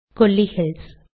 Kolli hills